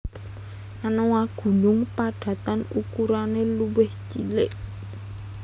Anoa gunung padatan ukurane luwih cilik